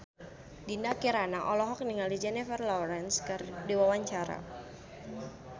Dinda Kirana olohok ningali Jennifer Lawrence keur diwawancara